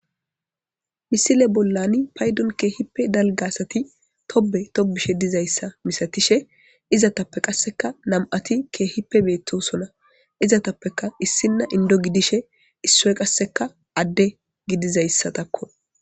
misile bollani paydon keehippe dalga asati tobe tobishe dizayssa misatishe izatappe qasseka nam'ati keehipe beettosona izatappeka issinna indo gidishe issoy qasseka adde gidizayssa takko